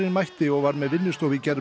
mætti og var með vinnustofu í gerð